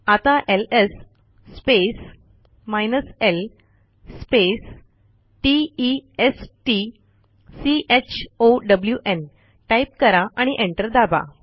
आता LS space l space t e s t c h o w न् type करा आणि enter दाबा